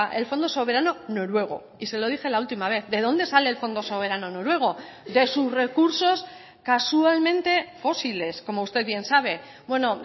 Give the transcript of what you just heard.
el fondo soberano noruego y se lo dije la última vez de dónde sale el fondo soberano noruego de sus recursos casualmente fósiles como usted bien sabe bueno